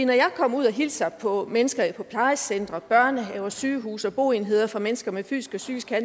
når jeg kommer ud og hilser på mennesker på plejecentre børnehaver sygehuse og boenheder for mennesker med fysiske og